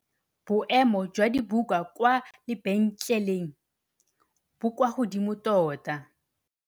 Boêmô jwa dibuka kwa lebentlêlêng bo kwa godimo tota.